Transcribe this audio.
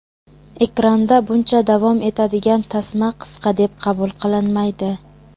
Ekranda buncha davom etadigan tasma qisqa deb qabul qilinmaydi.